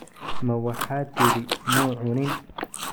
Ma waxaad tidhi muu cunin?